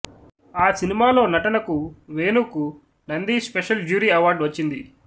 ఆ సినిమాలో నటనకు వేణుకు నంది స్పెషల్ జ్యూరీ అవార్డు వచ్చింది